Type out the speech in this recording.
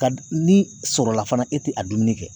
Ka ni sɔrɔla fana e tɛ a dumuni kɛ